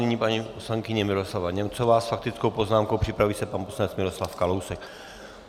Nyní paní poslankyně Miroslava Němcová s faktickou poznámkou, připraví se pan poslanec Miroslav Kalousek.